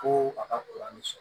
Ko a ka sɔrɔ